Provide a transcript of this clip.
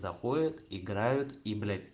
заходят играют и блять